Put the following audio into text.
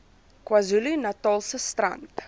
kwazulu natalse strand